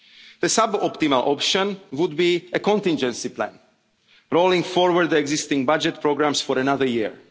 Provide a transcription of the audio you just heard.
challenges. The suboptimal option would be a contingency plan, rolling forward existing budget programmes for